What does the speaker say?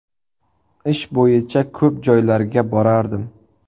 Ish bo‘yicha ko‘p joylarga borardim.